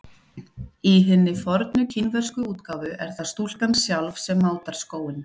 Í hinni fornu kínversku útgáfu er það stúlkan sjálf sem mátar skóinn.